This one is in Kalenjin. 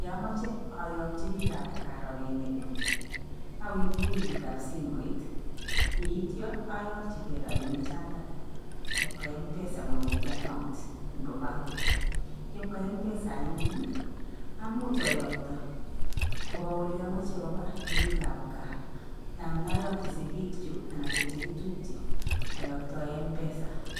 Yamachei ayakyi biikab kaa rabinik awendi benkitab simooit. Yeityo ayakyigei robini chatok kopkwa m-pesa kong'etee account nebo bank. Yebwa m-pesa anyun amuuch ayokto kopa oliamache kopa eng biikab gaa anan ayokyi sigiikjug anan kochekitupje ayaktae m-pesa.